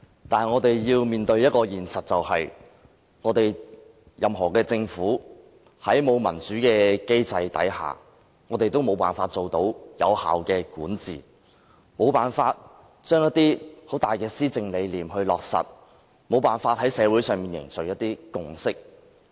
但我們要面對的一個現實是，在沒有民主的制度下，任何政府也無法達致有效管治、無法落實一些重大的施政理念，以及無法凝聚社會共識。